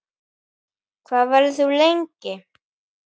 Hvað verður þú lengi?